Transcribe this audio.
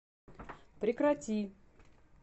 прекрати